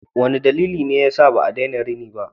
Wane dalili ne yasa ba a daina rini ba?